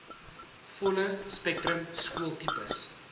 volle spektrum skooltipes